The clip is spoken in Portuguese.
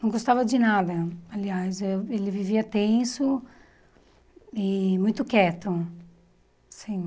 Não gostava de nada, aliás, eh ele vivia tenso e muito quieto sim.